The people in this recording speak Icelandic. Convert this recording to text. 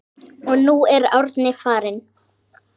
Og nú er Árni farinn.